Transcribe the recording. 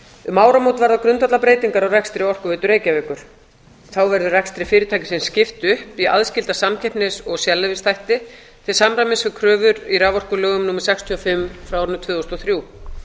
um áramót verða grundvallarbreytingar á rekstri orkuveitu reykjavíkur þá verður rekstri fyrirtækisins skipt upp í aðskilda samkeppnis og sérleyfisþætti til samræmis við kröfur í raforkulögum númer sextíu og fimm tvö þúsund og þrjú